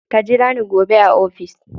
Ka jira ni gobe a ofis.